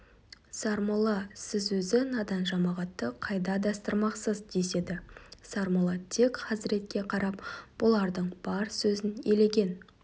сармолла сіз өзі надан жамағатты қайда адастырмақсыз деседі сармолла тек хазіретке қарап бұлардың бар сөзін елеген